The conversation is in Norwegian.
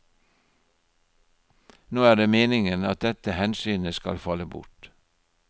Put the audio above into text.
Nå er det meningen at dette hensynet skal falle bort.